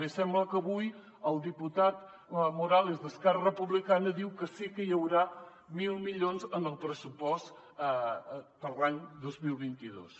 bé sembla que avui el diputat morales d’esquerra republicana diu que sí que hi haurà mil milions en el pressupost per a l’any dos mil vint dos